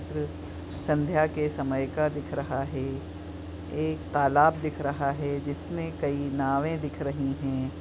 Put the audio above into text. चित्र संध्या के समय का दिख रहा है एक तालाब दिख रहा है जिसमे कई नावे दिख रही है।